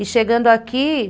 E chegando aqui,